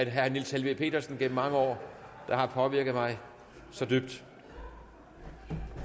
herre niels helveg petersen gennem mange år det har påvirket mig dybt